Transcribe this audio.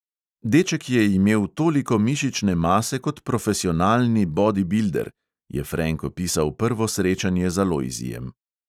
"Deček je imel toliko mišične mase kot profesionalni bodibilder," je frenk opisal prvo srečanje z alojzijem.